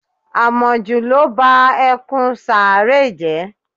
Àmọ̀jù ló ba ẹkùn Sáárẹ́ jẹ́